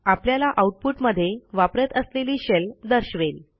आपल्याला आऊटपुट मध्ये वापरत असलेली शेल दर्शवेल